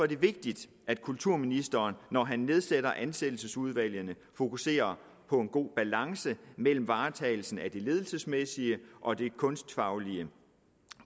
det vigtigt at kulturministeren når han nedsætter ansættelsesudvalgene fokuserer på en god balance mellem varetagelsen af det ledelsesmæssige og det kunstfaglige